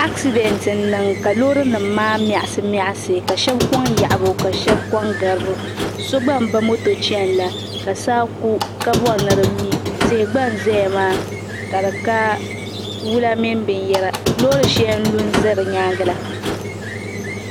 Asidɛnt n niŋ ka loori nim maa miɣasi miɣasi ka shab koŋ yaɣabu ka shab koŋ garibu so gba n ba moto chɛni la ka saa ku ka bɔri ni di mi tihi gba n ʒɛya maa ka di ka wula mini binyɛra loori shɛli n lu n ʒɛ di nyaangi la